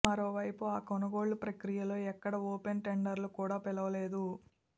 మరోవైపు ఆ కొనుగోళ్ల ప్రక్రియలో ఎక్కడా ఓపెన్ టెండర్లు కూడా పిలవలేదు